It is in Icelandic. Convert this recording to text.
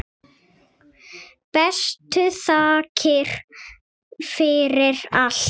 Bestu þakkir fyrir allt.